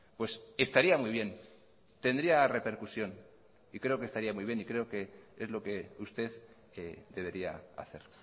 pues estaría muy bien tendría repercusión y creo que estaría muy bien y creo que es lo que usted debería hacer